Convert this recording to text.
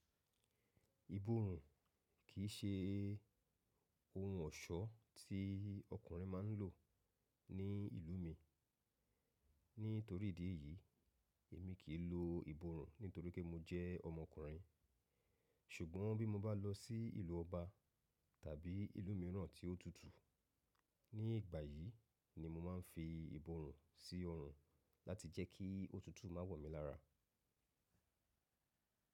Ìbòrùn kì í ṣe ohun ọ̀ṣọ́ tí ọkùnrin máa ń lò ní ìlú mi. Nítorí ìdí èyí, èmi kì í lo ìbòrùn nítorí pé mo jẹ́ ọmọkùnrin. Ṣùgbọ́n bí mo bá lọ sí ìlú ọba tàbí ìlú mìíràn tí ó tútù, ní ìgbà yìí ni mo máa ń fi ìbòrùn sí ọrùn láti jẹ́ kí òtútù má wọ̀ mí lára.